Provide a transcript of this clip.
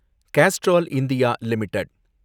Castrol India limited